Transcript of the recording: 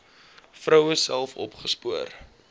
vroue self opgespoor